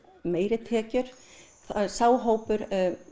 meiri tekjur sá hópur